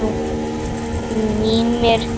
Mímir Másson.